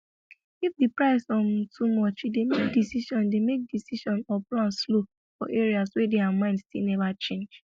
if the price um too much e dey make decision dey make decision or plan slow for areas wey their mind still never change